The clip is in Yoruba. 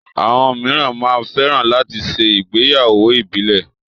Àwọn míràn máa ń fẹ́ran láti ṣe ìgbéyàwó ìbílẹ̀